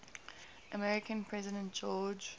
american president george